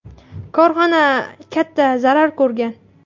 Korxona katta zarar ko‘rgan.